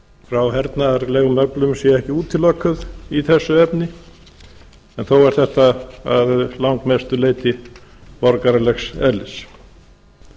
frá hernaðarlegum öflum sé ekki útilokuð í þessu efni en þó er þetta að langmestu leyti borgaralegs eðlis